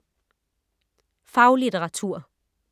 Faglitteratur